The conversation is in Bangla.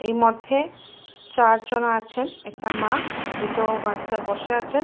এই মধ্যে চারজন আছে একটা মা দুটো বাচ্চা বসে আছেন ।